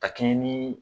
Ka kɛɲɛ ni